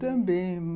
Também.